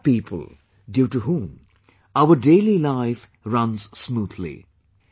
These are people due to whom our daily life runs smoothly